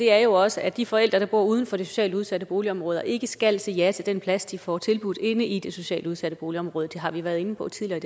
er jo også at de forældre der bor uden for et socialt udsat boligområde ikke skal sige ja til den plads de får tilbudt inde i det socialt udsatte boligområde det har vi været inde på tidligere